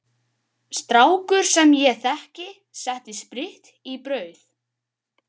Strákur sem ég þekki setti spritt í brauð.